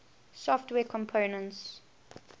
software components